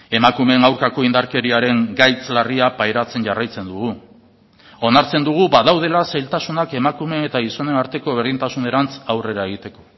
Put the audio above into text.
emakumeen aurkako indarkeriaren gaitz larria pairatzen jarraitzen dugu onartzen dugu badaudela zailtasunak emakumeen eta gizonen arteko berdintasunerantz aurrera egiteko